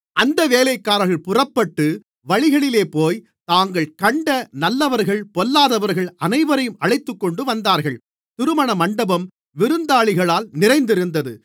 அந்த வேலைக்காரர்கள் புறப்பட்டு வழிகளிலேபோய் தாங்கள் கண்ட நல்லவர்கள் பொல்லாதவர்கள் அனைவரையும் அழைத்துக்கொண்டுவந்தார்கள் திருமண மண்டபம் விருந்தாளிகளால் நிறைந்திருந்தது